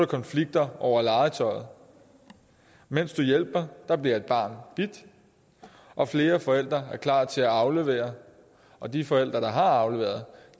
konflikter over legetøjet mens du hjælper bliver et barn bidt og flere forældre er klar til at aflevere og de forældre der har afleveret